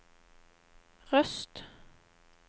Røst